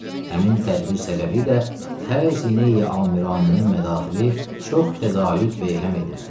Həmin tədbir səbəbilə xəzinəyə amiranənin mədaxili çox təzaüd be-həm edibdir.